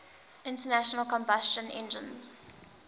internal combustion engines